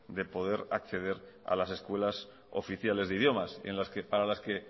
de poder acceder a las escuelas oficiales de idiomas para las que